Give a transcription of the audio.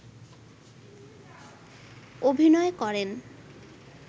অভিনয় করেন